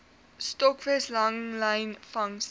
stokvis langlyn vangste